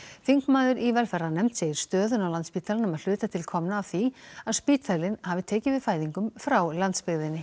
þingmaður í velferðarnefnd segir stöðuna á Landspítalanum að hluta til komna af því að spítalinn hafi tekið við fæðingum frá landsbyggðinni